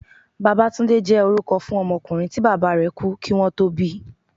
Babátúndé jẹ́ orúkọ fún ọmọkùnrin tí Bàbá bàbá rẹ̀ kú kí wón tó bíi.